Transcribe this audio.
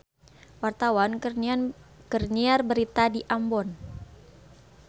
Wartawan keur nyiar berita di Ambon